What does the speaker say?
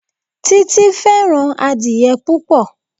Títí fẹ́ràn adìẹ púpò.